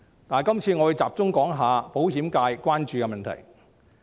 我會集中談談保險界關注的問題。